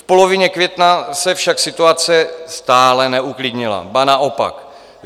V polovině května se však situace stále neuklidnila, ba naopak.